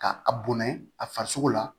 Ka a bonya a farisogo la